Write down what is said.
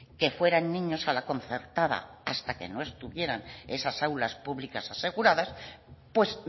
que fueran niños a la concertada hasta que no estuvieran esas aulas públicas aseguradas pues